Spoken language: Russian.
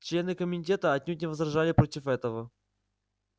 члены комитета отнюдь не возражали против этого